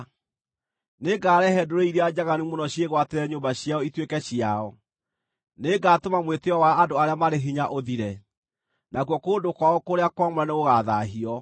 Nĩngarehe ndũrĩrĩ iria njaganu mũno ciĩgwatĩre nyũmba ciao ituĩke ciao; nĩngatũma mwĩtĩĩo wa andũ arĩa marĩ hinya ũthire, nakuo kũndũ kwao kũrĩa kwamũre nĩgũgathaahio.